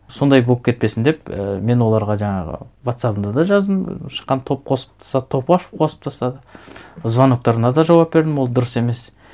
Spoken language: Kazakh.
сондай болып кетпесін деп і мен оларға жаңағы вотсабында да жаздым шыққан топ қосып топ ашып қосып тастады звоноктарына да жауап бердім ол дұрыс емес